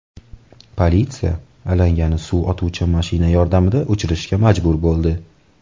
Politsiya alangani suv otuvchi mashina yordamida o‘chirishga majbur bo‘ldi.